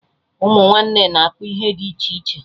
Ụmụ nwanne na-akpa ihe dị iche iche